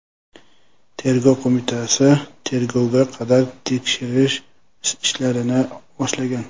Tergov qo‘mitasi tergovga qadar tekshirish ishlarini boshlagan.